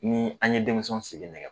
Ni an ye denmisɛnw sigi nɛgɛ